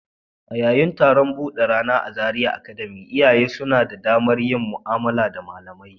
A yayin taron buɗe rana a Zaria Academy, iyaye suna da damar yin mu'amala da malamai.